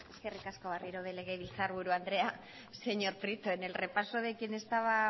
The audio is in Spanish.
eskerrik asko berriro ere legebiltzarburu andrea señor prieto en el repaso de quien estaba